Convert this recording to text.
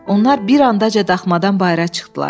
Onlar bir andaca daxmadan bayıra çıxdılar.